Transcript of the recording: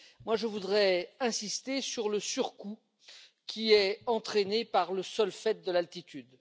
Je voudrais insister sur le surcoût qui est entraîné par le seul fait de l'altitude.